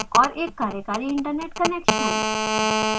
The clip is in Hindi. और एक कार्यकारी इन्टरनेट कनेक्शन